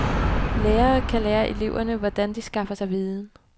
Lærere kan lære eleverne, hvordan de skaffer sig viden.